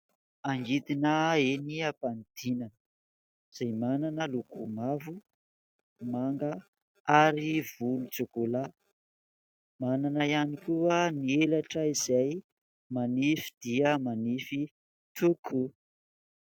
Angidina eny ampanidinana izay manana loko mavo, manga ary volontsokolà. Manana ihany koa ny elatra izay manify dia manify tokoa.